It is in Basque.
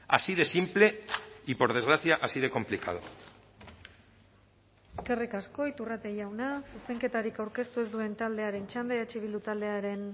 así de simple y por desgracia así de complicado eskerrik asko iturrate jauna zuzenketarik aurkeztu ez duen taldearen txanda eh bildu taldearen